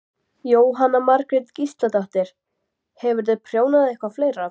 Jóhanna Margrét Gísladóttir: Hefurðu prjónað eitthvað fleira?